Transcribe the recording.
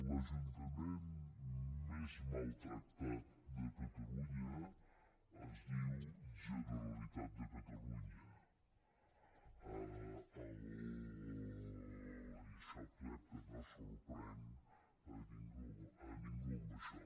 l’ajuntament més maltractat de catalunya es diu generalitat de catalunya i crec que no sorprenc a ningú amb això